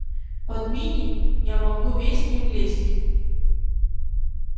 под мини я могу весь не влезть